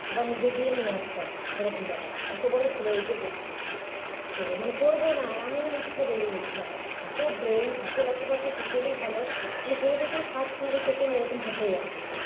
আবার নিজে গিয়ে নিয়ে আসতাম এরকম ব্যাপার অত বড় ছেলে eight এ পড়ছে তো মানা পড়বো না এমন ইচ্ছা জেগে গেছে এত brain এত লেখাপড়াতে ছোট থেকেই ভাল ছোট থেকেই first নাহলে second এরকম হতোই আর কি